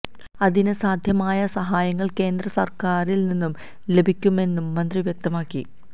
അതിന് സാധ്യമായ സഹായങ്ങള് കേന്ദ്ര സര്ക്കാറില് നിന്ന് ലഭിക്കുമെന്നും മന്ത്രി വ്യക്തമാക്കി